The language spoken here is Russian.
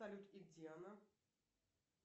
салют и где она